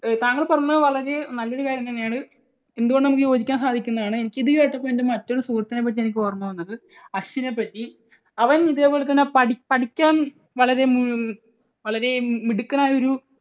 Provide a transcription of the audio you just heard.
താങ്കൾ പറഞ്ഞത് വളരെ നല്ല ഒരു കാര്യം തന്നെയാണ്. എന്തുകൊണ്ടും നമുക്ക് യോജിക്കാൻ സാധിക്കുന്നതാണ്. എനിക്ക് ഇതുകേട്ടപ്പോൾ എൻറെ മറ്റൊരു സുഹൃത്തിനെ പറ്റിയാണ് എനിക്ക് ഓർമ്മ വന്നത്. അശ്വിനെ പറ്റി. അവൻ ഇതേപോലെതന്നെ പഠി പഠിക്കാൻ ഉം വളരെ വളരെ മിടുക്കൻ ആയ ഒരു